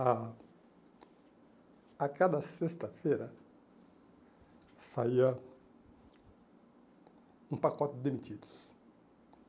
A a cada sexta-feira saía um pacote de demitidos.